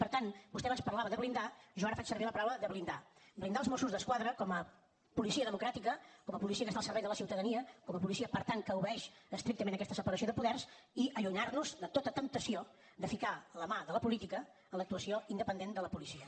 per tant vostè abans parlava de blindar jo ara faig servir la paraula de blindar blindar els mossos d’esquadra com a policia democràtica com a policia que està al servei de la ciutadania com a policia per tant que obeeix estrictament aquesta separació de poders i allunyar nos de tota temptació de ficar la mà de la política en l’actuació independent de la policia